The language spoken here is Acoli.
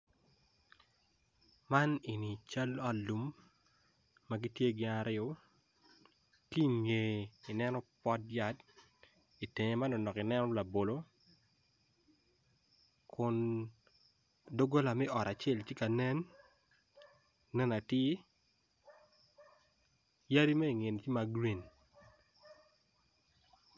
Man eni cal ot lum magitye gin aryo ki ngeye i neno pot yat i tenge manonok i neno labolo kun dogola me ot acel tye ka nen nen atir yadi me i ngeye tye magreen.